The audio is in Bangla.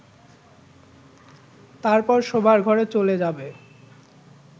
তারপর শোবার ঘরে চলে যাবে